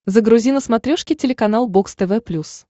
загрузи на смотрешке телеканал бокс тв плюс